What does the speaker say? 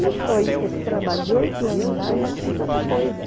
E foi esse trabalho de oito anos lá, eu não fiz outra coisa.